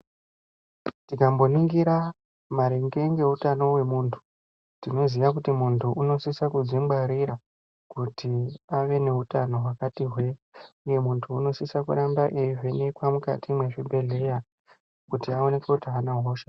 Tikamboningira maringe ndeutano wemundu tinoziva kuti mundu unosisa kudzingwarira kuti ave neutano wakati hwee uye mundu unosise kuramba eyivhinekwa mukati mwezvibhedhleya kuti aonekwe kuti aana hosha here.